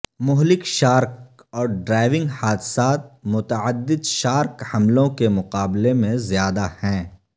مہلک شارک اور ڈرائیونگ حادثات متعدد شارک حملوں کے مقابلے میں زیادہ ہیں